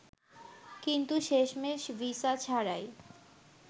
কিন্তু শেষমেশ ভিসা ছাড়াই